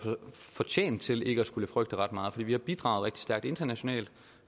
fortjent til ikke at skulle frygte ret meget for vi har bidraget rigtig stærkt internationalt